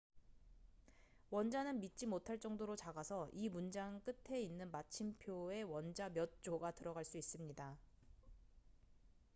원자는 믿지 못할 정도로 작아서 이 문장 끝에 있는 마침표에 원자 몇 조가 들어갈 수 있습니다